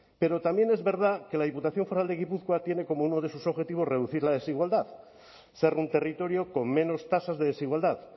pero también es verdad que la diputación foral de gipuzkoa tiene como uno de sus objetivos reducir la desigualdad ser un territorio con menos tasas de desigualdad